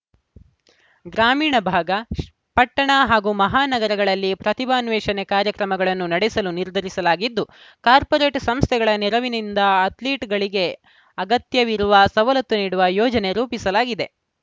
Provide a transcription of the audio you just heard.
ಗ್ರಾಮೀಣ ಭಾಗ ಪಟ್ಟಣ ಹಾಗೂ ಮಹಾ ನಗರಗಳಲ್ಲಿ ಪ್ರತಿಭಾನ್ವೇಷಣೆ ಕಾರ್ಯಕ್ರಮಗಳನ್ನು ನಡೆಸಲು ನಿರ್ಧರಿಸಲಾಗಿದ್ದು ಕಾರ್ಪೋರೇಟ್‌ ಸಂಸ್ಥೆಗಳ ನೆರವಿನಿಂದ ಅಥ್ಲೀಟ್‌ಗಳಿಗೆ ಅಗತ್ಯವಿರುವ ಸವಲತ್ತು ನೀಡುವ ಯೋಜನೆ ರೂಪಿಸಲಾಗಿದೆ